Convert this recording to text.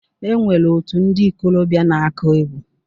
E nwere òtù ndi ikolobia na-aku egwu.